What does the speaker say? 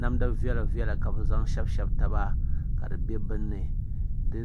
Namdi viɛla viɛla ka bi zaŋ shɛbisi taba ka di bɛ binni di